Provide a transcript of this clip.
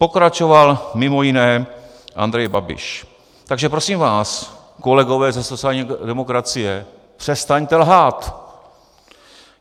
Pokračoval mimo jiné Andrej Babiš: "Takže prosím vás, kolegové ze sociální demokracie, přestaňte lhát!